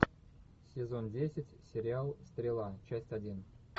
сезон десять сериал стрела часть один